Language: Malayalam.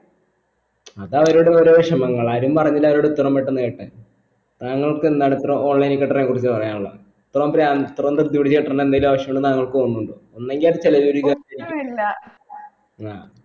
അത് അവരുടെ ഓരോ വിഷമങ്ങൾ ആരും പറഞ്ഞിനാ അവരോട് ഇത്രം പെട്ടെന്ന് കെട്ടാൻ താങ്കൾക് എന്താണ് ഇത്ര online ക്കത്രേം കുറിച്ച് പറയാനുള്ളെ ഇത്രം പ്രാന്ത് ഇത്രേം ദൃതി പിടിച്ചു കെട്ടേണ്ടി എന്തേലും ആവശ്യം ഉണ്ടെന്ന് താങ്കൾക് തോന്നുന്നുണ്ടോ ഒന്നെങ്കി അത് ചിലവ് ചുരുക്കാൻ